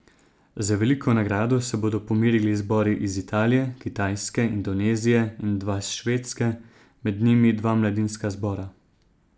Za veliko nagrado se bodo pomerili zbori iz Italije, Kitajske, Indonezije in dva s Švedske, med njimi dva mladinska zbora.